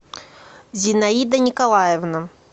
зинаида николаевна